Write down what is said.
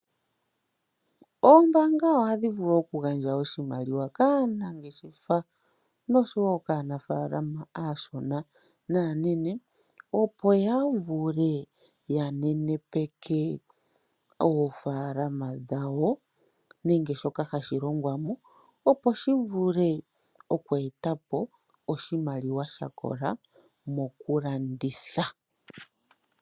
Oombanga ohadhi vulu okugandja oshimaliwa kaanangeshefa noshowo kaanafalama aashona naa nene opo yavule yanenepeke oofalama dhawo nenge sho hashilongwamo opo shivule okweetapo oshimaliwa shakola mokulanditha.